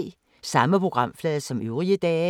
Samme programflade som øvrige dage